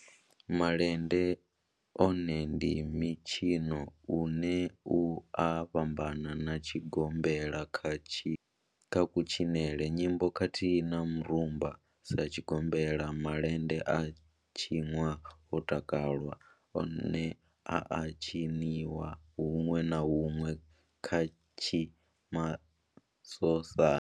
Malende one ndi mitshino une u a fhambana na tshigombela kha kutshinele, nyimbo khathihi na mirumba. Sa tshigombela, malende a tshinwa ho takalwa, one a a tshiniwa hunwe na hunwe kanzhi masosani.